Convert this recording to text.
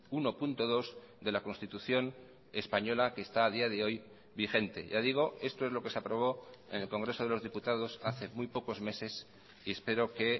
uno punto dos de la constitución española que está a día de hoy vigente ya digo esto es lo que se aprobó en el congreso de los diputados hace muy pocos meses y espero que